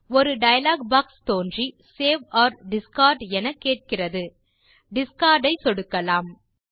ஒரு dialog box தோன்றி save or discard என கேட்கிறது டிஸ்கார்ட் ஐ சொடுக்கலாம்